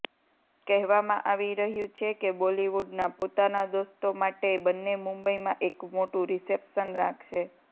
કહેવામાં આવી રહ્યુ છે કે બોલિવુડના પોતાના દોસ્તો માટે બંને મુંબઈમાં એક મોટુ રિસેપ્શન રાખશે